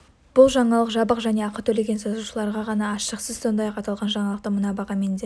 бұл жаңалық жабық және ақы төлеген жазылушыларға ғана ашық сіз сондай-ақ аталған жаңалықты мына бағамен де